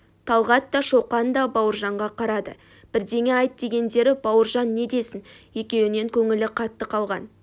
талғат та шоқан да бауыржанға қарады бірдеңе айт дегендері бауыржан не десін екеуінен көңілі қатты қалған